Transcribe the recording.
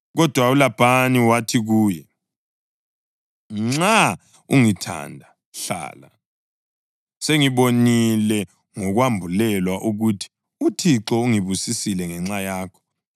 Kodwa uLabhani wathi kuye, “Nxa ungithanda, hlala. Sengibonile ngokwambulelwa ukuthi uThixo ungibusisile ngenxa yakho.”